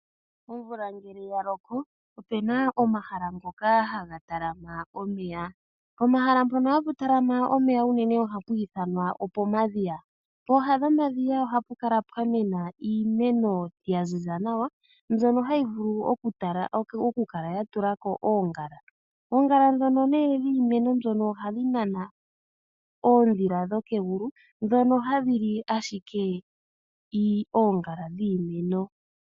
Omvula ngele yaloko opena omahala ngoka haga talama omeya. Pomahala mpono unene hapu talama omeya ohapwiithanwa opomadhiya, pooha dhomadhiya ohapukala pwa mena iimeno yaziza nawa mbyono hayi vulu okukala yatulako oongala, oongala née ndhono dhimeno ohadhinana oondhila dhokegulu ndhono hadhili ashike oongala dhimeno.